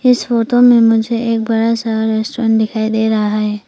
इस फोटो में मुझे एक बड़ा सा रेस्टोरेंट दिखाई दे रहा है।